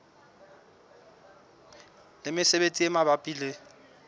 le mesebetsi e mabapi le